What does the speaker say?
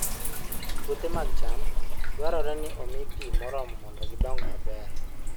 Puothe mag cham dwarore ni omi pi moromo mondo gidong maber.